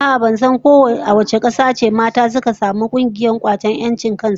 A'a ,ban san ko a wace kasa ce aka fara samun mata suka yi kungiyar kwatar 'yancin su ba.